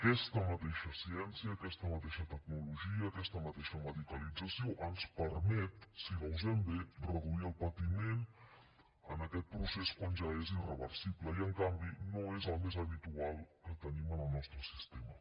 aquesta mateixa ciència aquesta mateixa tecnologia aquesta mateixa medicalització ens permet si la usem bé reduir el patiment en aquest procés quan ja és irreversible i en canvi no és el més habitual que tenim en el nostre sistema